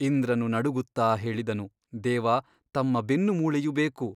ಇಂದ್ರನು ನಡುಗುತ್ತಾ ಹೇಳಿದನು ದೇವ ತಮ್ಮ ಬೆನ್ನು ಮೂಳೆಯು ಬೇಕು.